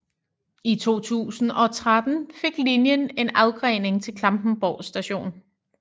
I 2013 fik linjen en afgrening til Klampenborg st